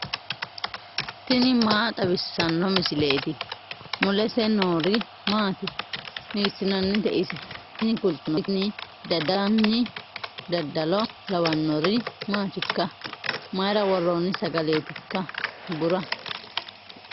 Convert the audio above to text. tini maa xawissanno misileeti ? mulese noori maati ? hiissinannite ise ? tini kultannori tini dadallanni dadalo lawannori maatikka mayra worronni sagaleetikka bura